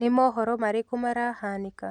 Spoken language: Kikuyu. ni mohoro marĩkũ marahanĩka